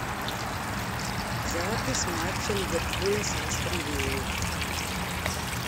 запись матча ливерпуля с астон виллой